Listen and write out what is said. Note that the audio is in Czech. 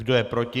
Kdo je proti?